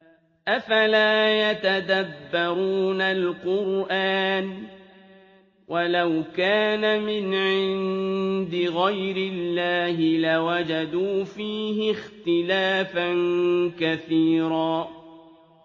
أَفَلَا يَتَدَبَّرُونَ الْقُرْآنَ ۚ وَلَوْ كَانَ مِنْ عِندِ غَيْرِ اللَّهِ لَوَجَدُوا فِيهِ اخْتِلَافًا كَثِيرًا